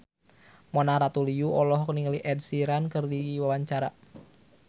Mona Ratuliu olohok ningali Ed Sheeran keur diwawancara